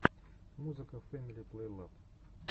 музыка фэмили плейлаб